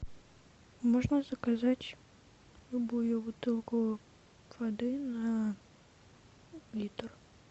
можно заказать любую бутылку воды на литр